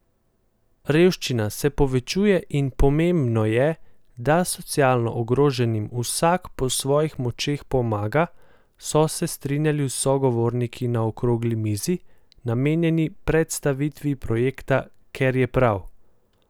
Revščina se povečuje in pomembno je, da socialno ogroženim vsak po svojih močeh pomaga, so se strinjali sogovorniki na okrogli mizi, namenjeni predstavitvi projekta Ker je prav!